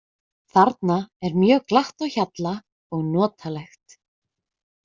Þarna er mjög glatt á hjalla og notalegt.